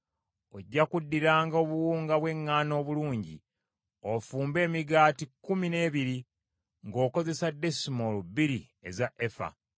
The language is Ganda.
“Ojja kuddiranga obuwunga bw’eŋŋaano obulungi ofumbe emigaati kkumi n’ebiri ng’okozesa desimoolo bbiri eza efa .